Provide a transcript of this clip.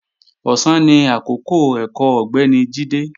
Ọ̀sán ni àkọ́kọ́ ẹ̀kọ́ Ọ̀gbẹ́ni Jídé